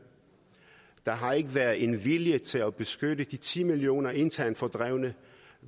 der har ikke været en vilje til at beskytte de ti millioner internt fordrevne